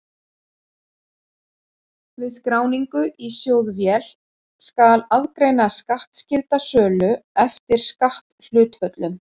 Við skráningu í sjóðvél skal aðgreina skattskylda sölu eftir skatthlutföllum.